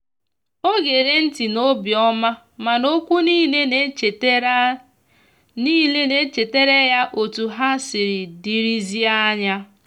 o gere nti n'obiomamana okwu nile na echetara nile na echetara ya otu ha siri dirizie anya.